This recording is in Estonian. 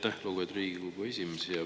Aitäh, lugupeetud Riigikogu esimees!